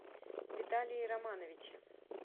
виталии романовиче